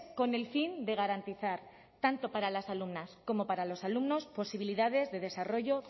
con el fin de garantizar tanto para las alumnas como para los alumnos posibilidades de desarrollo